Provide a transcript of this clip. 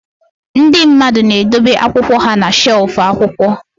Ndị mmadụ na-edobe akwụkwọ ha na shelf akwụkwọ